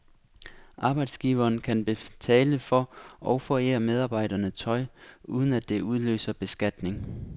Arbejdsgiveren kan betale for og forære medarbejderne tøj, uden at det udløser beskatning.